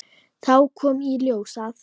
Þá kom í ljós að